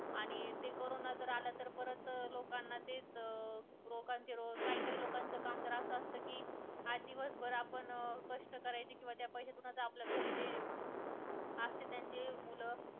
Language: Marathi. आणि ते कारोंना आला तर परत लोकांना तेच अं काही काही लोकांचे काम असं असत कि आज दिवसभर आपण कष्ट करायचे कि त्या पैशातून आपल्या घरी असतील जे मूलं